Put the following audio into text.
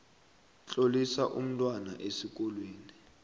tlolisa umntwana esikolweni